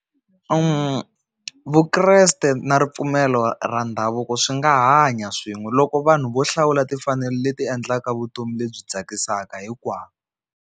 Vukreste na ripfumelo ra ndhavuko swi nga hanya swin'we loko vanhu vo hlawula timfanelo leti endlaka vutomi lebyi tsakisaka hinkwavo.